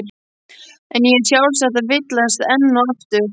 En ég er sjálfsagt að villast enn og aftur.